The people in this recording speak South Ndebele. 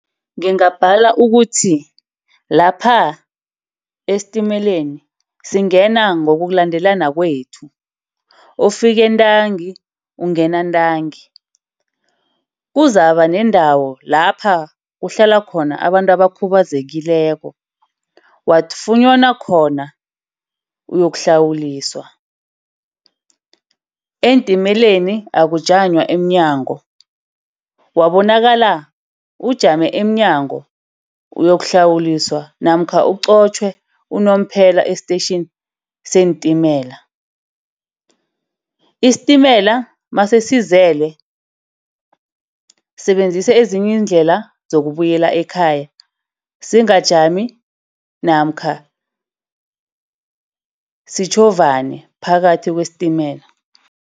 Ngingabala ukuthi lapha estatimeleni singena ngokulandelana kwethu. Ofikentangi ungena ntangi. Kuzakuba neendawo lapha kuhlala khona abantu abakhubazekileko, wafunyanwa khona uyoku uhlawuliswa. Eentimeleni akujamanywa emnyango. Wabonakala ujame emnyango uyokuhlawuliswa namkha ukuqotjhwe unomphela station seentimela. Isitimela masesizele sebenzisa ezinye iindlela zokubuyela ekhaya singajami namkha sitjhovane phakathi kwesitimela.